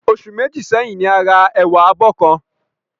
Oṣù Méjì sẹ́yìn ni a ra ẹ̀wà abọ́ kan